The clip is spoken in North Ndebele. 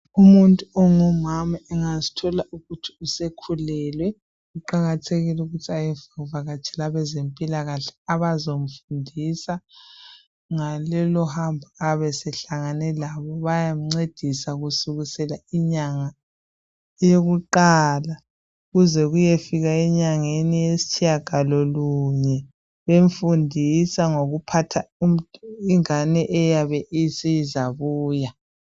Umuntu ongumama engazithola ukuthi usekhulelwe, kuqakathekile ukuthi ayevakatshela abezempilakahle abazomfundisa ngalolu hambo ayabe sehlangene lalo. Bayamncedisa kusukela enyangeni yokuqala kuze kuyefika enyangeni yesitshiyagalolunye. Bemfundisa ngokuphatha ingane eyabe isizabuya.